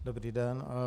Dobrý den.